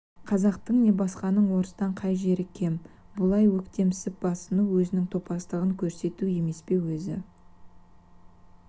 қазақтың не басқаның орыстан қай жер кем бұлай өктемсіп басыну өзінің топастығын көрсету емес пе өзі